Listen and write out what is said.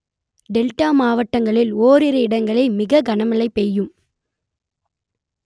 delta மாவட்டங்களில் ஓரிரு இடங்களில் மிக கனமழை பெய்யும்